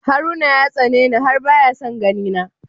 Haruna ya tsani ni har baya son ganina.